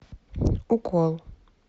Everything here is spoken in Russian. укол